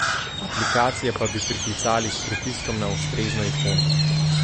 Aplikacije pa bi priklicali s pritiskom na ustrezno ikono.